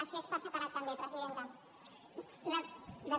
es fes per separat també presidenta